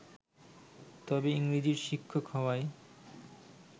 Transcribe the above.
তবে ইংরেজির শিক্ষক হওয়ায়